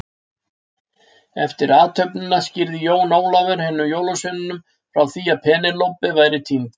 Eftir athöfnina skýrði Jón Ólafur hinum jólasveinunum frá því að Penélope væri týnd.